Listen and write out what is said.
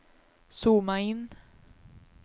zooma in